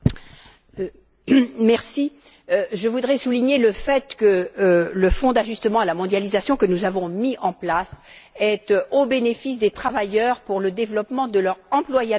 Madame la Présidente, je voudrais souligner le fait que le Fonds d'ajustement à la mondialisation que nous avons mis en place est destiné aux travailleurs pour le développement de leur employabilité.